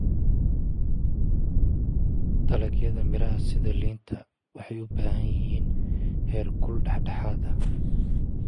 Dalagyada miraha sida liinta waxay u baahan yihiin heerkul dhexdhexaad ah.